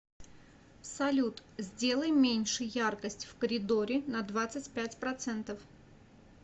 салют сделай меньше яркость в коридоре на двадцать пять процентов